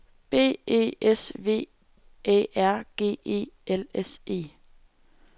B E S V Æ R G E L S E